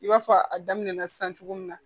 I b'a fɔ a daminɛna sisan cogo min na